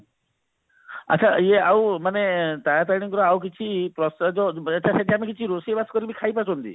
ଆଛା ଇଏ ଆଉ ମାନେ ତାରାତାରିଣୀ ଙ୍କର ଆଉ କିଛି ପ୍ରସାଦ ରୋଷେଇବାସ କରିକି ଖାଇବା କେମତି